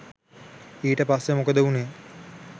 ඊට පස්සේ මොකද වුණේ